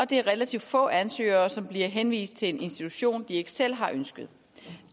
det er relativt få ansøgere som bliver henvist til en institution de ikke selv har ønsket